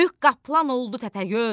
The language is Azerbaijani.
Böyük qaplan oldu Təpəgöz.